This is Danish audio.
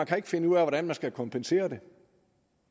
kan finde ud af hvordan man skal kompensere for det